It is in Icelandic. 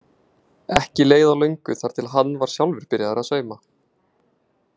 Ekki leið á löngu þar til hann var sjálfur byrjaður að sauma.